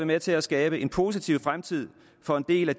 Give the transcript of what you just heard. med til at skabe en positiv fremtid for en del af